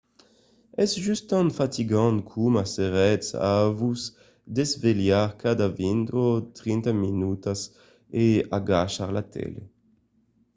es just tan fatigant coma s’èretz a vos desvelhar cada vint o trenta minutas e agachar la tele